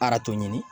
ɲini